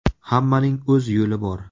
Hammaning o‘z yo‘li bor.